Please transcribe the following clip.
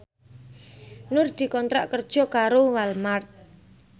Nur dikontrak kerja karo Walmart